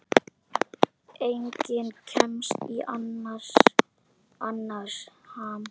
Enginn kemst í annars ham.